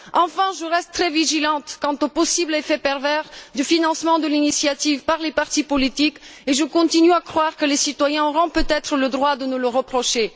Enfin, je resterai vigilante quant au possible effet pervers du financement de l'initiative par les partis politiques et je continue à croire que les citoyens auront peut être le droit de nous le reprocher.